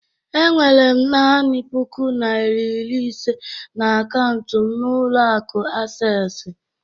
Enwere m nani puku nari iri ise na akaụntụ m n'ụlọ akụ Asesi